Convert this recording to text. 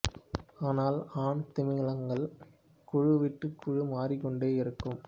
ஆனால் ஆண் திமிங்கலங்கள் குழு விட்டு குழு மாறிக்கொண்டே இருக்கும்